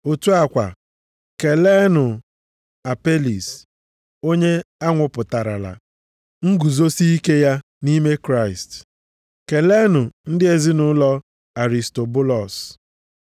Otu a kwa, keleenụ Apelis onye anwapụtarala nguzosike ya nʼime Kraịst. Keleenụ ndị ezinaụlọ Aristobulọs.